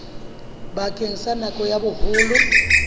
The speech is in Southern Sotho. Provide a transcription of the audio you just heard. bakeng sa nako ya boholo